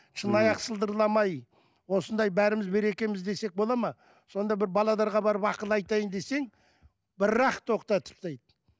шыныаяқ сылдырламай осындай бәріміз берекеміз десек болады ма сонда бір барып ақыл айтайын десең бір ақ тоқтатып тастайды